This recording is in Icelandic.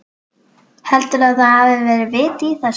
Heldurðu að það hafi verið vit í þessu?